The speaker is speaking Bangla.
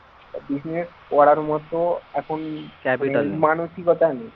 business করার মত এখন মানসিকতা নেই